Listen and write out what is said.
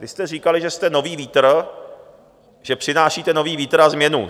Vy jste říkali, že jste nový vítr, že přinášíte nový vítr a změnu.